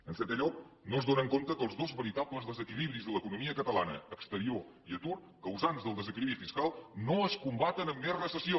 en setè lloc no s’adonen que els dos veritables desequilibris de l’economia catalana exterior i atur causants del desequilibri fiscal no es combaten amb més recessió